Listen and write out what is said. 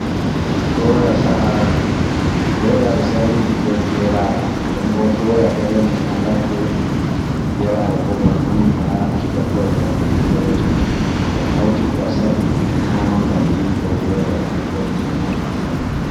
Doya sa'aaɗum. Doya ɓe sa'iri ɗum be geraɗe. Nden bo doya ɗo rema ha ladde, geraɗe bo bano andi ha gertoɗe on kebete. To a hauti ɗum a sa’i, a nyama ngam riwugo welo, nden bo ɗum ɗon nafa ha ɓandu.